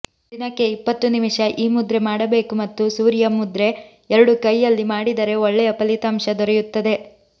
ದಿನಕ್ಕೆ ಇಪ್ಪತ್ತು ನಿಮಿಷ ಈ ಮುದ್ರೆ ಮಾಡಬೇಕು ಮತ್ತು ಸೂರ್ಯ ಮುದ್ರೆ ಎರಡು ಕೈಯಲ್ಲಿ ಮಾಡಿದರೆ ಒಳ್ಳೆಯ ಫಲಿತಾಂಶ ದೊರೆಯುತ್ತದೆ